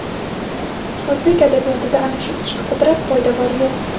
o‘zbek adabiyoti-da ana shu ichki qudrat — poydevor yo‘q.